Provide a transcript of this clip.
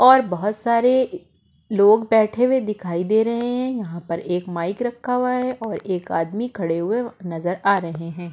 और बहुत सारे लोग बैठे हुए दिखाई दे रहे हैं यहाँ पर एक माइक रखा हुआ है और एक आदमी खड़े हुए नजर आ रहे हैं।